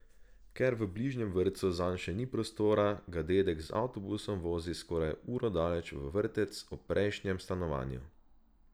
Ker v bližnjem vrtcu zanj še ni prostora, ga dedek z avtobusom vozi skoraj uro daleč v vrtec ob prejšnjem stanovanju.